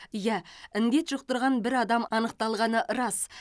иә індет жұқтырған бір адам анықталғаны рас